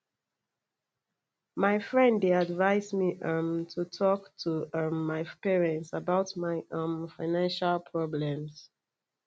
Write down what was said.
my friend dey advise me um to talk to um my parent about my um financial problems